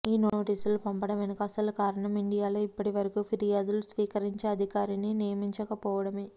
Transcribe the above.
ఈ నోటీసులు పంపడం వెనుక అసలు కారణం ఇండియాలో ఇప్పటి వరకు ఫిర్యాదులు స్వీకరించే అధికారిని నియమించకపోవడమే